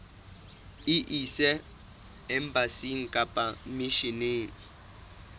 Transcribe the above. e ise embasing kapa misheneng